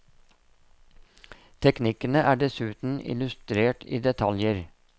Teknikkene er dessuten illustrert i detaljer.